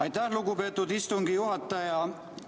Aitäh, lugupeetud istungi juhataja!